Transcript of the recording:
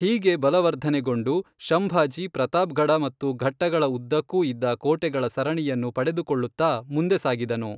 ಹೀಗೆ ಬಲವರ್ಧನೆಗೊಂಡು, ಶಂಭಾಜಿ ಪ್ರತಾಪ್ಗಢ ಮತ್ತು ಘಟ್ಟಗಳ ಉದ್ದಕ್ಕೂಇದ್ದ ಕೋಟೆಗಳ ಸರಣಿಯನ್ನು ಪಡೆದುಕೊಳ್ಳುತ್ತಾ ಮುಂದೆ ಸಾಗಿದನು.